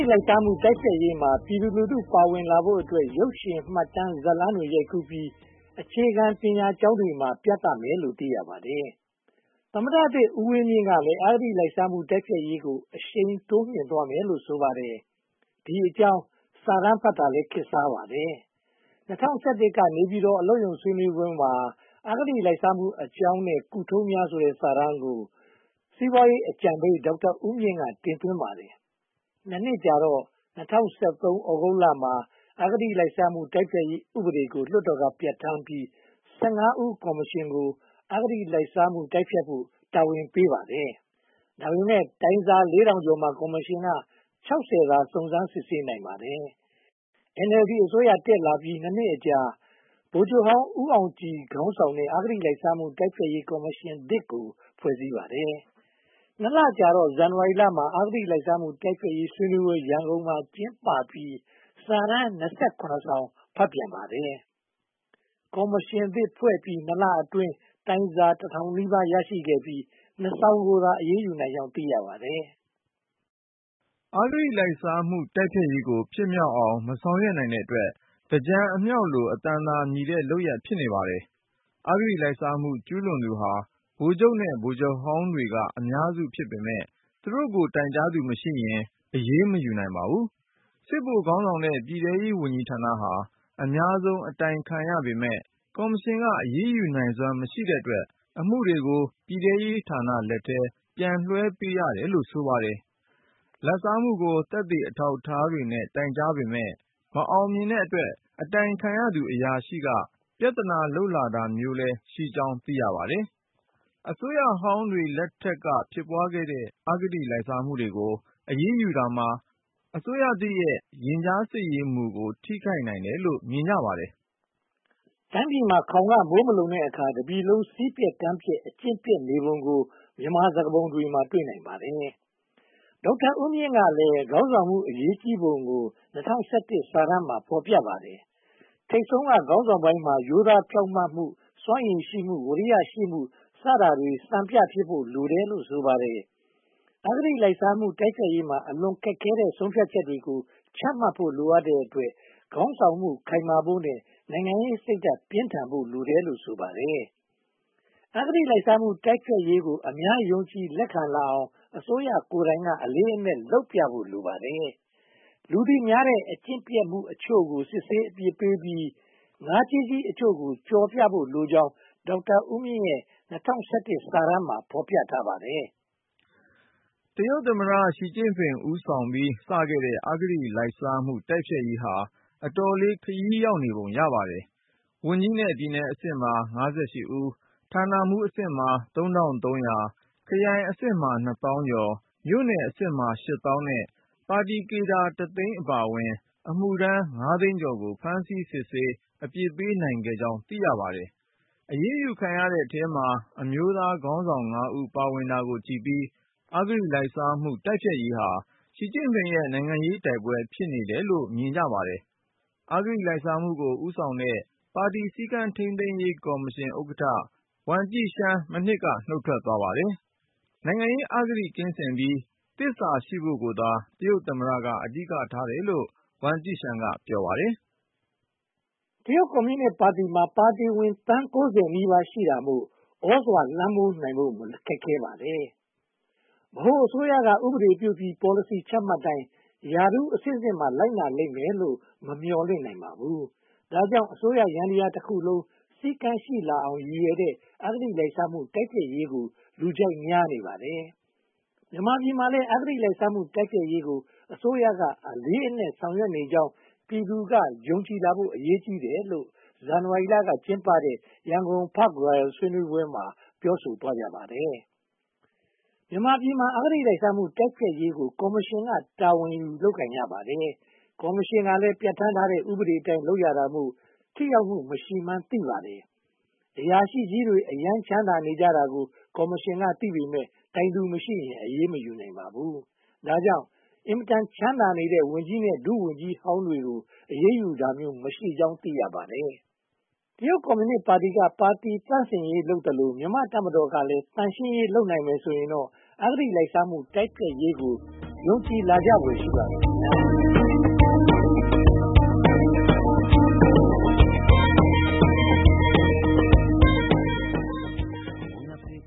လိုက်စားမှု တိုက်ဖျက်ရေးမှာ ပြည်သူလူထုပါဝင်လာဖို့အတွက် ရုပ်ရှင်၊ မှတ်တမ်း၊ ဇာတ်လမ်းတွေ ရိုက်ကူးပြီး အခြေခံပညာကျောင်းတွေမှာ ပြသမယ်လို့ သိရပါတယ်။ သမ္မတသစ်ဦးဝင်းမြင့်ကလည်း အဂတိလိုက်စားမှုတိုက်ဖျက်ရေးကို အရှိန်တိုးမြှင့်သွားမယ်လို့ ဆိုပါတယ်။ ဒီအကြောင်း စာတမ်းဖတ်တာလည်း ခေတ်စားပါတယ်။ ၂၀၁၁ က နေပြည်တော်အလုပ်ရုံဆွေးနွေးပွဲမှာ အဂတိလိုက်စားမှုအကြောင်းနဲ့ ကုထုံးများ ဆိုတဲ့ စာတမ်းကို စီးပွားရေးအကြံပေး ဒေါက်တာဦးမြင့်က တင်သွင်းပါတယ်။ နှစ်ကြာတော့ ၂၀၁၃ သြဂုတ်မှာ အဂတိလိုက်စားမှု တိုက်ဖျက်ရေးဥပဒေကို လွှတ်တော်က ပြဌာန်းပြီး ဦး ကော်မရှင်ကို အဂတိလိုက်စားမှုတိုက်ဖျက်ဖို့ တာဝန်ယူပေးပါတယ်။ ဒါပေမဲ့ တိုင်စာ ကျော်မှာ ကော်မရှင်က သာ စုံစမ်းစစ်ဆေးနိုင်ပါတယ်။ NLD အစိုးရတက်လာပြီး နှစ်အကြာ ဗိုလ်ချုပ်ဟောင်း ဦးအောင်ကြည်ခေါင်းဆောင်တဲ့ အဂတိလိုက်စားမှု တိုက်ဖျက်ရေးကော်မရှင်သစ် ဖွဲ့စည်းပါတယ်။ လကြာတော့ ဇန်နဝါရီမှာ အဂတိလိုက်စားမှု တိုက်ဖျက်ရေး ဆွေးနွေးပွဲ ရန်ကုန်မှာ ကျင်းပပြီး စာတမ်း စောင် ဖတ်ပြန်ပါတယ်။ ကော်မရှင်သစ် ဖွဲ့စည်းပြီး လအတွင်းမှာ တိုင်စာ ထောင်နီးပါး ရရှိပြီး စောင်ကို အရေးယူနိုင်ကြောင်း သိရပါတယ်။ အဂတိလိုက်စားမှု တိုက်ဖျက်ရေးကို ဖြစ်မြောက်အောင် မဆောင်ရွက်နိုင်တဲ့အတွက် သင်္ကြန်အမြောက်လို အသံသာမြည်တဲ့ လုပ်ရပ်ဖြစ်နေပါတယ်။ အဂတိလိုက်စားမှု ကျူးလွန်သူဟာ ဗိုလ်ချုပ်နဲ့ ဗိုလ်ချုပ်ဟောင်းတွေက အများစုဖြစ်ပေမယ့် သူတို့ကို တိုင်ကြားသူမရှိရင် အရေးမယူနိုင်ပါဘူး။ စစ်ဗိုလ်ခေါင်းဆောင်တဲ့ ပြည်ထဲရေးဝန်ကြီးဌာနဟာ အများဆုံး အတိုင်ခံရပေမယ့် ကော်မရှင်က အရေးယူနိုင်စွမ်း မရှိတဲ့အတွက် အမှုတွေကို ပြည်သူရေးဌာနလက်ထဲ ပြန်လွှဲပေးရတယ်လို့ ဆိုပါတယ်။ လာဘ်စားမှုကို သက်သေအထောက်အထားနဲ့ တိုင်ကြားပေမယ့် မအောင်မြင်တဲ့အတွက် အတိုင်ခံအရာရှိက ပြဿနာလုပ်လာတာမျိုးလည်း ရှိကြောင်း သိရပါတယ်။ အစိုးရဟောင်းတွေ လက်ထက်ကဖြစ်ပွားတဲ့ အဂတိလိုက်စားမှုတွေကို အရေးယူတာဟာ အစိုးရသစ်ရဲ့ ရင်ကြားစေ့မှုကို ထိခိုက်နိုင်တယ်လို့ မြင်ကြပါတယ်။ တိုင်းပြည်မှာ ခေါင်ကမိုးမလုံတဲ့အခါ တပြည်လုံး စည်းပျက်ကမ်းပျက် အကျင့်ပျက်နေပုံကို မြန်မာစကားပုံမှာ တွေ့နိုင်ပါတယ်။ ဒေါက်တာဦးမြင့်ကလည်း ခေါင်းဆောင်မှု အရေးကြီးပုံကို စာတမ်းမှာ ဖော်ပြပါတယ်။ ထိပ်ဆုံးက ခေါင်းဆောင်ပိုင်းမှာ ရိုးသားဖြောင့်မတ်မှု၊ စွမ်းရည်ရှိမှု၊ ဝီရိယရှိမှု စတာတွေမှာ စံပြဖြစ်ဖို့လိုတယ်လို့ ဆိုပါတယ်။ အဂတိလိုက်စားမှု တိုက်ဖျက်ရေးမှာ အလွန်ခက်ခဲတဲ့ ဆုံးဖြတ်ချက်တွေကို ချမှတ်ဖို့ လိုအပ်တဲ့အတွက် ခေါင်းဆောင်မှု ခိုင်မာဖို့နဲ့ နိုင်ငံရေးစိတ်ဓါတ်ပြင်းထန်ဖို့ လိုတယ်လို့ ဆိုပါတယ်။ အဂတိလိုက်စားမှု တိုက်ဖျက်ရေးကို အများယုံကြည်လက်ခံလာအောင် အစိုးရကိုယ်တိုင် အလေးအနက်လုပ်ပြဖို့ လိုပါတယ်။ လူသိများတဲ့ အကျင့်ပျက်အချို့ကို စစ်ဆေးအပြစ်ပေးပြီး ငါးကြီးကြီးအချို့ကို ကြော်ပြဖို့ လိုအပ်ကြောင်း ဒေါက်တာဦးမြင့်ရဲ့ စာတမ်းမှာ ဖော်ပြပါတယ်။ တရုတ်သမ္မတ ရှီကျင့်ဖိန် ဦးဆောင်ပြီး စခဲ့တဲ့ အဂတိလိုက်စားမှုတိုက်ဖျက်ရေးဟာ အတော်လေး ခရီးရောက်နေပုံရပါတယ်။ ဝန်ကြီးနဲ့ပြည်နယ်အဆင့်မှာ ဦး၊ ဌာနမှူးအဆင့်မှာ ၊ ခရိုင်အဆင့်မှာ သောင်းကျော် မြို့နယ်အဆင့်မှာ ရှစ်သောင်းနဲ့ ပါတီကေဒါ တသိန်းအပါအဝင် အမှုထမ်း သိန်းကျော်ကို ဖမ်းဆီးစစ်ဆေး အပြစ်ပေးနိုင်ခဲ့ကြောင်း သိရပါတယ်။ အရေးယူခံရသူတွေထဲမှာ အမျိုးသားခေါင်းဆောင် ဦး ပါဝင်တာကိုကြည့်ပြီး အဂတိလိုက်စားမှုတိုက်ဖျက်ရေးဟာ ရှီကျင့်ဖိန်ရဲ့ နိုင်ငံရေးတိုက်ပွဲ ဖြစ်နေတယ်လို့လည်း မြင်ကြပါတယ်။ အဂတိလိုက်စားမှုကို ဦးဆောင်တဲ့ ပါတီစည်းကမ်းထိန်းသိမ်းရေးကော်မရှင် ဥက္ကဋ္ဌ ဝမ်ကျီရှန်း မနှစ်က နုတ်ထွက်သွားပါတယ်။ နိုင်ငံရေးအဂတိကင်းစင်ပြီး သစ္စာရှိဖို့ကိုသာ တရုတ်သမ္မတက အဓိကထားတယ်လို့ ဝမ်ကျိရှန်းက ဆိုပါတယ်။ တရုတ်ကွန်မြူနစ်ပါတီမှာ ပါတီဝင်သန်း နီးပါးရှိတာမို့ သြဇာလွှမ်းမိုးနိုင်ဖို့ ခက်ခဲပါတယ်။ ဗဟိုအစိုးရက ဥပဒေပြုပြီး ပေါ်လစီချမှတ်တိုင်း ရာထူးအဆင့်ဆင့်မှာ လိုက်နာလိမ့်မယ်လို့ မမျှော်လင့်နိုင်ပါဘူး။ ဒါကြောင့် အစိုးရယန္တရားတခုလုံး စည်းကမ်းရှိလာအောင် ရည်ရွယ်တဲ့ အဂတိလိုက်စားမှု တိုက်ဖျက်ရေးကို လူကြိုက်များနေပါတယ်။ မြန်မာပြည်မှာလည်း အဂတိလိုက်စားမှု တိုက်ဖျက်ရေးကို အစိုးရ အလေးအနက်ဆောင်ရွက်နေကြောင်း ပြည်သူလူထုက ယုံကြည်လာဖို့ အရေးကြီးတယ်လို့ ဇန်နဝါရီက ကျင်းပတဲ့ ရန်ကုန် Park Royal ဆွေးနွေးပွဲမှာ ပြောဆိုသွားကြပါတယ်။ မြန်မာပြည်မှာ အဂတိလိုက်စားမှု တိုက်ဖျက်ရေးကို ကော်မရှင်က တာဝန်ယူ လုပ်ကိုင်ရပါတယ်။ ကော်မရှင်ကလည်း ပြဌာန်းထားတဲ့ ဥပဒေအတိုင်း လုပ်ရတာမို့ ထိရောက်မှု မရှိမှန်းသိပါတယ်။ အရာရှိကြီးတွေ အရမ်းချမ်းသာနေကြတာကို ကော်မရှင်ကသိပေမယ့် တိုင်သူမရှိရင် အရေးမယူနိုင်ပါဘူး။ ဒါကြောင့် အင်မတန် ချမ်းသာနေကြတဲ့ ဝန်ကြီးနဲ့ ဒုဝန်ကြီးဟောင်းတွေကို အရေးယူတာမျိုး မရှိကြောင်း သိရပါတယ်။ တရုတ်ကွန်မြူနစ်ပါတီက ပါတီသန့်စင်ရေးလုပ်သလို၊ မြန်မာ့တပ်မတော်ကလည်း သန့်ရှင်းရေး လုပ်နိုင်မယ်ဆိုရင်တော့ အဂတိလိုက်စားမှု တိုက်ဖျက်ရေးကို ယုံကြည်လာဖွယ်ရှိပါတယ်။